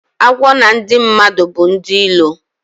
Agwọ na ndi madu bu ndi ilo